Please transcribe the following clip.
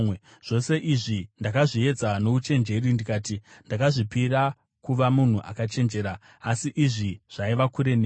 Zvose izvi ndakazviedza nouchenjeri ndikati, “Ndakazvipira kuva munhu akachenjera,” asi izvi zvaiva kure neni.